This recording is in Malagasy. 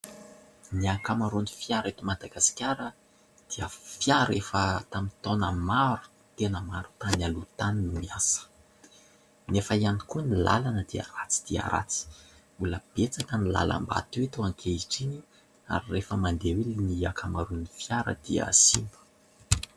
Ny ankamaroan'ny fiara eto Madagasikara dia fiara efa tamin'ny taona maro tena maro tany aloha tany no niasa. Nefa ihany koa ny lalana dia ratsy dia ratsy. Mbola betsaka ny lalam-bato eto ankehitriny ary rehefa mandeha eo ny ankamaroan'ny fiara dia simba.